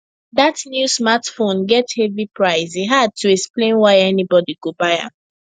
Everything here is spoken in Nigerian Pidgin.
that new smartphone get heavy price e hard to explain why anybody go buy am